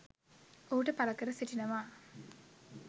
ඔහුට පළ කර සිටිනවා.